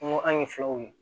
An ko an ye filaw ye